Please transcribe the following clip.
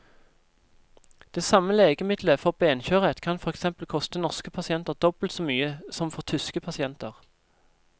Det samme legemiddelet for benskjørhet kan for eksempel koste norske pasienter dobbelt så mye som for tyske pasienter.